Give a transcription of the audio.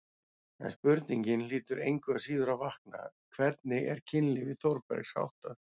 En spurningin hlýtur engu að síður að vakna: hvernig var kynlífi Þórbergs háttað?